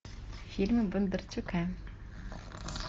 фильмы бондарчука